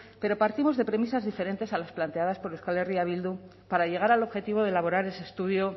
pero partimos de premisas diferentes a las planteadas por euskal herria bildu para llegar al objetivo de elaborar ese estudio